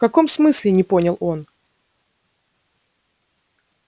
в каком смысле не понял он